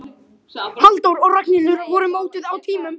Óskar Halldórsson samdi leiðbeiningar við Íslandsklukkuna og Njörður